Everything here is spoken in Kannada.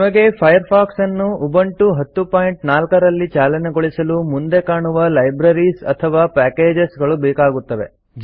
ನಿಮಗೆ ಫೈರ್ಫಾಕ್ಸ್ ಅನ್ನು ಉಬುಂಟು 1004 ರಲ್ಲಿ ಚಾಲನೆಗೊಳಿಸಲು ಮುಂದೆಕಾಣುವ ಲೈಬ್ರರೀಸ್ ಅಥವಾ ಪ್ಯಾಕೇಜಸ್ ಗಳು ಬೇಕಾಗುತ್ತವೆ